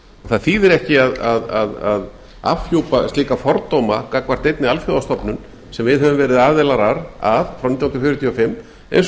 það þýðir ekki að afhjúpa slíka fordóma gagnvart einni alþjóðastofnun sem við höfum verið aðilar frá nítján hundruð fjörutíu og fimm eins